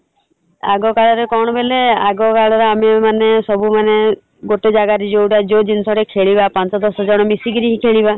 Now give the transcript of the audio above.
ଆଗ କାଳରେ କଣ କହିଲ ଆଗ କାଳରେ ଆମେ ମାନେ ସବୁ ମାନେ ଗୋଟେ ଜାଗାରେ ଜଉଟା ଜିନିଷ ଟା ଖେଳିବା ପାଞ୍ଚ ଦଶ ଜଣ ମିଶିକିରି ଖେଳିବା ।